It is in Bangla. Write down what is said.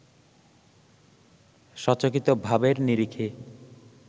সচকিত ভাবের নিরিখে